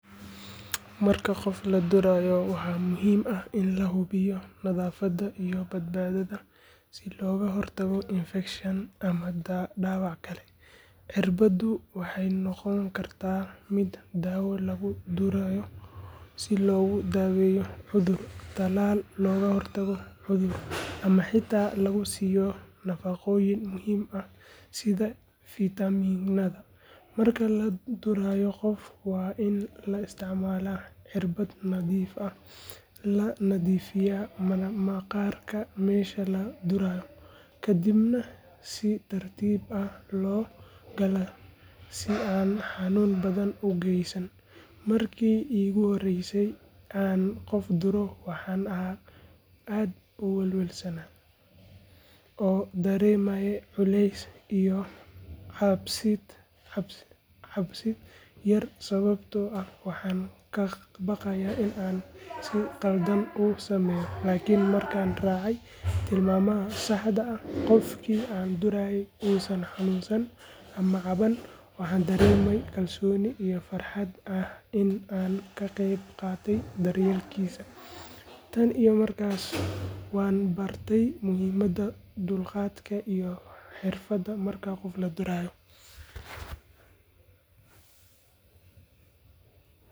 Marka qof la durayo waxaa muhiim ah in la hubiyo nadaafadda iyo badbaadada si looga hortago infekshan ama dhaawac kale. Cirbaddu waxay noqon kartaa mid daawo lagu durayo si loogu daaweeyo cudur, talaal looga hortago cudur, ama xitaa lagu siiyo nafaqooyin muhiim ah sida fitamiinada. Marka la durayo qof, waa in la isticmaalaa cirbad nadiif ah, la nadiifiyaa maqaarka meesha la durayo, kadibna si tartiib ah loo galaa si aan xanuun badan u geysan. Markii iigu horreysay aan qof duro waxaan ahaa aad u welwelsan oo dareemayay culays iyo cabsid yar sababtoo ah waxaan ka baqayay in aan si khaldan u sameeyo. Laakiin markaan raacay tilmaamaha saxda ah, qofkii aan durayna uusan xanuunsan ama caban, waxaan dareemay kalsooni iyo farxad ah in aan ka qayb qaatay daryeelkiisa. Tan iyo markaas, waan bartay muhiimadda dulqaadka iyo xirfadda marka qof la durayo.